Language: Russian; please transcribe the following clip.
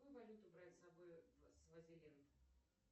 какую валюту брать с собой в свазиленд